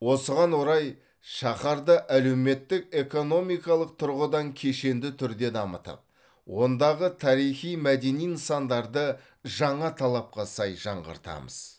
осыған орай шаһарды әлеуметтік экономикалық тұрғыдан кешенді түрде дамытып ондағы тарихи мәдени нысандарды жаңа талапқа сай жаңғыртамыз